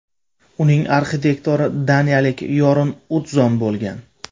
Uning arxitektori daniyalik Yorn Utzon bo‘lgan.